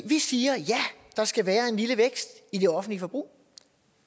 vi siger at ja der skal være en lille vækst i det offentlige forbrug